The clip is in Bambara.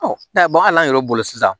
n'a ye yɛrɛ bolo sisan